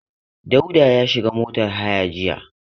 Dauda ya shiga motar haya jiya.